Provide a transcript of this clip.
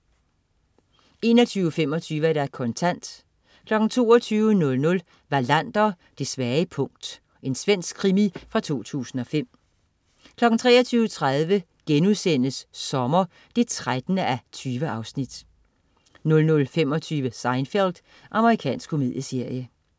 21.25 Kontant 22.00 Wallander: Det svage punkt. Svensk krimi fra 2005 23.30 Sommer 13:20* 00.25 Seinfeld. Amerikansk komedieserie